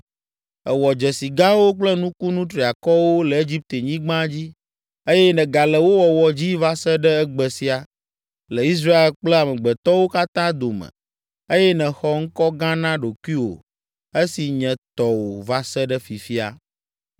Èwɔ dzesi gãwo kple nukunu triakɔwo le Egiptenyigba dzi eye nègale wo wɔwɔ dzi va se ɖe egbe sia, le Israel kple amegbetɔwo katã dome eye nèxɔ ŋkɔ gã na ɖokuiwò esi nye tɔwò va se ɖe fifia.